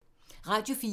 Radio 4